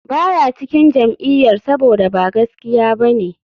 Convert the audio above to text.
Ba ya cikin jam'iyyar saboda ba gaskiya ba ne,